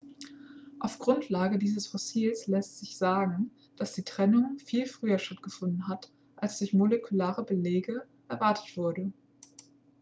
auf grundlage dieses fossils lässt sich sagen dass die trennung viel früher stattgefunden hat als durch molekulare belege erwartet wurde